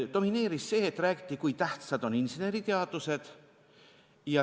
Domineeris see, et räägiti, kui tähtsad on inseneriteadused.